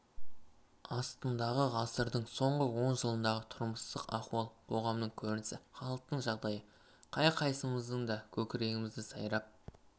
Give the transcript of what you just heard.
астындағы ғасырдың соңғы он жылындағы тұрмыстық ахуал қоғамның көрінісі халықтың жағдайы қай-қайсымыздың да көкірегімізде сайрап